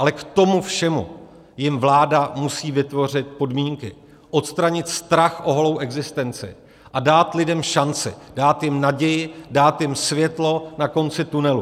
Ale k tomu všemu jim vláda musí vytvořit podmínky, odstranit strach o holou existenci a dát lidem šanci, dát jim naději, dát jim světlo na konci tunelu.